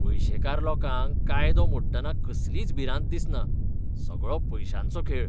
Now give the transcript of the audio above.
पयशेकार लोकांक कायदो मोडटना कसलीच भिरांत दिसना. सगळो पयशांचो खेळ!